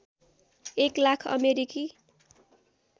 एक लाख अमेरिकी